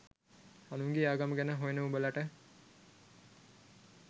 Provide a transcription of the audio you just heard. අනුන්ගේ ආගම ගැන හොයන උඹලට